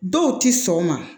Dɔw ti sɔn o ma